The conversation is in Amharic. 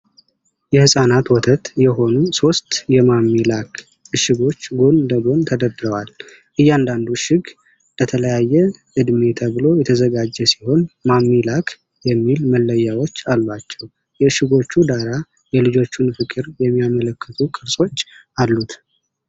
የህፃናት ወተት የሆኑ ሶስት የማሚ ላክ እሽጎች ጎን ለጎን ተደርድረዋል። እያንዳንዱ እሽግ ለተለያየ እድሜ ተብሎ የተዘጋጀ ሲሆኑ ማሚ ላክ የሚል መለያዎች አሏቸው። የእሽጎቹ ዳራ የልጆችን ፍቅር የሚያመለክቱ ቅርጾች አሉት።